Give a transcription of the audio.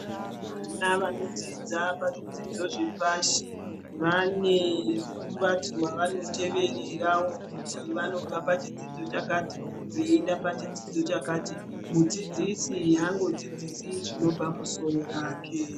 Vana vanodzidza pazvidzidzo zvepashi vane mukombati wavanoteverera wo kuti vanobva pachidzidzo pakati veienda pachidzidzo chakati mudzidzisi haangodzidzisi zvinobva musoro rake.